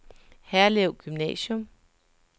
Herlev Gymnasium